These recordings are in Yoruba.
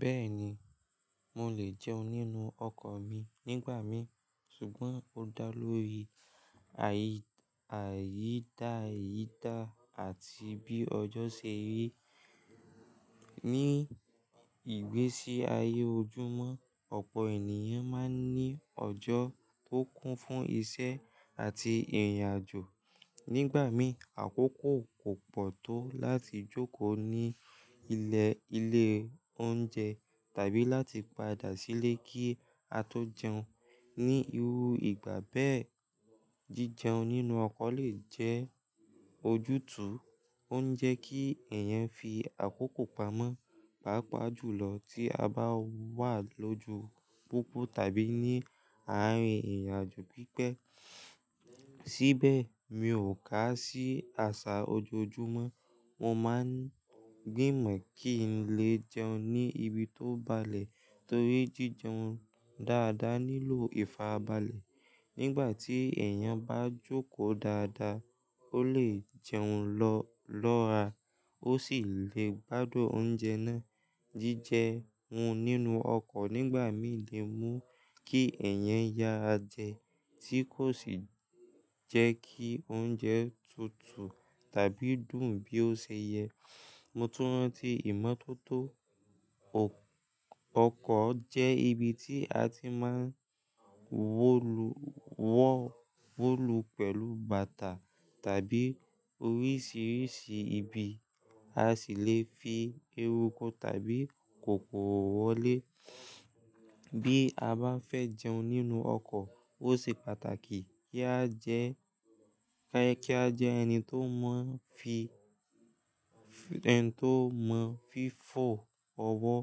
Bẹ́ẹ̀ni, mo lè jẹun nínú ọkọ̀ mi nígbà mín, ṣùgbọ́n ó dá lórí àyí-àyí dá àyí dá àti bí ọjọ́ ṣe rí. Ní ìgbésí ayé ojúmọ́, ọ̀pọ̀ ènìyàn máa ń ní ọjọ́ tó kún fún iṣẹ́ àti ìrìn àjò. Nígbà mí, àkókò kò pọ̀ tó láti jókòó ní ilẹ̀ ilé oúnjẹ tàbí láti padà sílé kí a tó jẹun. Ni irú ìgbà bẹ́ẹ̀, jíjẹun nínú ọkọ̀ lè jẹ́ ojútùú. Ó ń jẹ́ kí èèyàn fi àkókò pamọ́, pàápàá jùlọ tí a bá wà lójú popọ̀ tàbí ní àárín ìrìn àjò pípẹ́. Síbẹ̀, mi ò kà á sí àṣà ojoojúmọ́. Mo máa ń gbìmọ̀ kí n lè jẹun ní ibi tó balẹ̀ torí jíjẹun dáadáa nílò ìfàrabalẹ̀. Nígbà tí èèyàn bá jókòó dáadáa, ó lè jẹun lọ́ọ̀rá, ó sì lè gbádùn oúnjẹ náà. Jíjẹun nínú ọkọ̀ nígbà mí lè mú kí ẹ̀yàn yara jẹ tí kò sì jẹ́ kí oúnjẹ tutù tàbí dùn bí ó ṣe yẹ. Mo tún rántí ìmọ́tótó, ọkọ̀ jẹ́ ibi tí a ti máa ń wọ́ wolu pẹ̀lú bàtà tàbí oríṣiríṣi ibi, a sì lè fi erúku tàbí kòkòrò wọlé. Bí a bá fẹ́ jẹun nínú ọkọ̀, ó ṣe pàtàkì kí a jẹ́ ẹni tó mọ̀ n fí- ẹni tó mọ̀ fífò ọwọ́,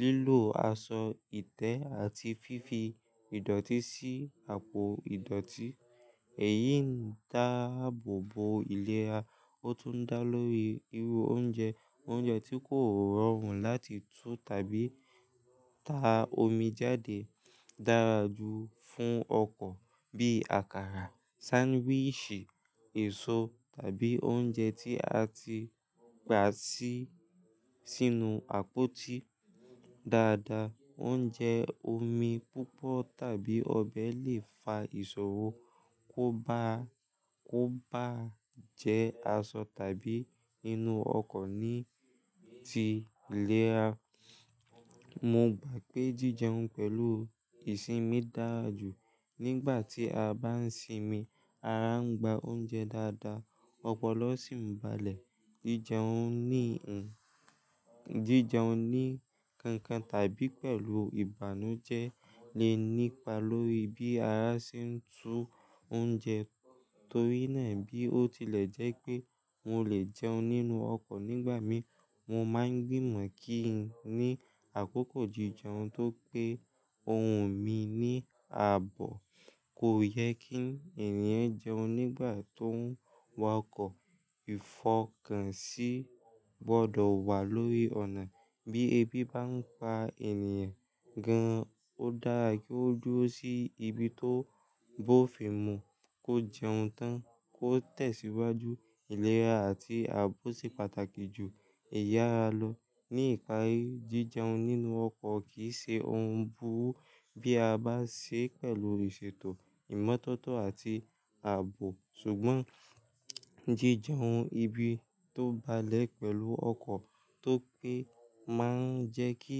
lílò aṣọ ìtẹ́ àti fífi ìdọ̀tí sí àpò ìdọ̀tí. Èyí ń dáàbòbo ilẹ̀rá, ó tún ń dá lórí irú oúnjẹ. Oúnjẹ tí kò rọrùn láti tú tàbí ta omi jáde dára jù fún ọkọ̀ bí àkàrà, sandwichi, èso tàbí oúnjẹ tí a ti gba sí- sínú àpótí dáadáa. Oúnjẹ omi púpọ̀ tàbí ọbẹ̀ lè fa ìṣòro kó bá- kó bá jẹ́ aṣọ tàbí inú ọkọ̀ ní ti iléra. Mo gbà pé jíjẹun pẹ̀lú ìsinmi dára jù. Nígbà tí a bá ń sinmi, ara ń gba oúnjẹ dáadáa, ọpọlọ sì ń balẹ̀. Jíjẹun ní- jíjẹun ní kankan tàbí pẹ̀lú ìbànújẹ́ lè nípa lórí bí ara ṣe ń tú oúnjẹ. Torí náà, bí ó tilẹ̀ jẹ́ pé mo lè jẹun nínú ọkọ̀ nígbà mí, mo máa ń gbìmọ̀ kí n ní àkókò jíjẹun tó pé óhun mi ní ààbò. Kò yẹ kí n èèyàn jẹun nígbà tó ń wakọ̀. Ìfọkànsí gbọdọ̀ wà lórí ọ̀nà. Bí ebi bá ń pa ènìyàn gan-an, ó dára kí ó duró sí ibi tó bófin mú kó jẹun tán kó tẹ̀síwájú. Ilẹ̀ra áti ààbò ṣe pàtàkì jù ìyára lo. Ní ìpari, jíjẹun nínú ọkọ̀ kì í ṣe ohun burú bí a bá ṣe pẹ̀lú ìṣètò, ìmọ́tótó àti ààbò. Ṣùgbọ́n jíjẹun ibi tó balẹ̀ pẹ̀lú ọkọ̀ tó pé máa ń jẹ́ kí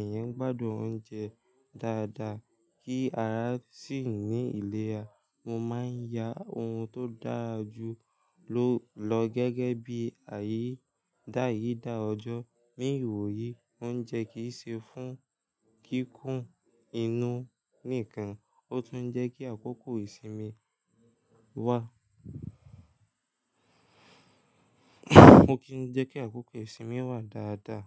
èèyàn gbádùn oúnjẹ dáadáa kí ara sì ní ilẹ̀ra. Mo máa ń ya ohun tó dára jù lọ gẹ́gẹ́ bí àyí dáyì dá ọjọ́. Ní ìwòyí, oúnjẹ kì í ṣe fún kíkún inú nìkan, ó tún ń jẹ́ kí àkókò ìsinmi wá- ó kì n jẹ́ kí àkókò ìsinmi wá dáadáa.